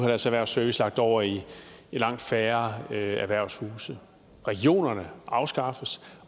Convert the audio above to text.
deres erhvervsservice lagt over i langt færre erhvervshuse regionerne afskaffes